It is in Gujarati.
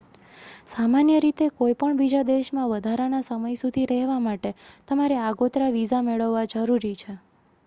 સામાન્ય રીતે કોઈ પણ બીજા દેશમાં વધારાના સમય સુધી રહેવા માટે તમારે આગોતરા વિઝા મેળવવા જરૂરી છે